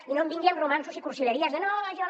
i no em vingui amb romanços i cursileries de no això